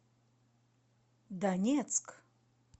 донецк